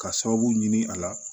Ka sababu ɲini a la